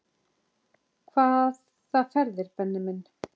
Hvaða ferðir Benni minn?